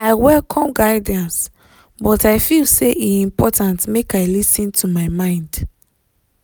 i welcome guidance but i feel say e important make i lis ten to my mind.